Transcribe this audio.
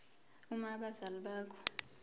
uma abazali bakho